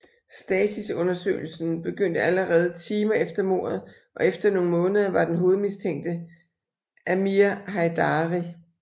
Stasis undersøgelsen begyndte allerede timer efter mordet og efter nogle måneder var den hovedmistænkte Amir Heidari